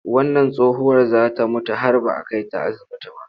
Wannan tsohuwar za ta mutu har ba a kai ta asibiti ba.